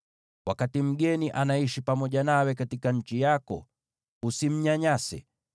“ ‘Wakati mgeni anaishi pamoja nawe katika nchi yako, usimnyanyase.